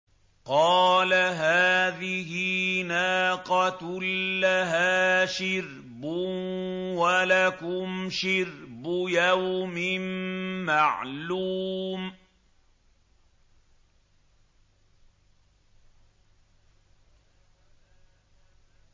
قَالَ هَٰذِهِ نَاقَةٌ لَّهَا شِرْبٌ وَلَكُمْ شِرْبُ يَوْمٍ مَّعْلُومٍ